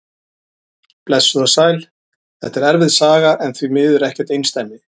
Blessuð og sæl, þetta er erfið saga en því miður ekkert einsdæmi.